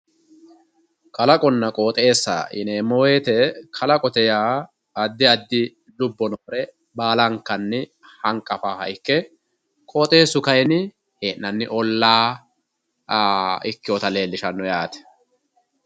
Kalaqonna qooxeessa yineemmo woyiite kalaqote yaa addi addi lubbo noore baala hanqafaaha ikke qooxeessu kaayiinni hee'anni ollaa ikkewoota leellishanno yaate.